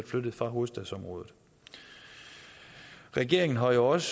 flyttet fra hovedstadsområdet regeringen har jo også